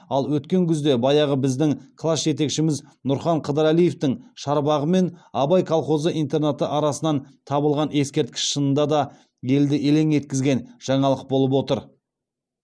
ал өткен күзде баяғы біздің класс жетекшіміз нұрхан қыдырәлиевтің шарбағы мен абай колхозы интернаты ортасынан табылған ескерткіш шынында да елді елең еткізген жаңалық болып отыр